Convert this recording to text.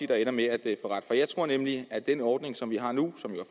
der ender med at få ret for jeg tror nemlig at den ordning som vi har nu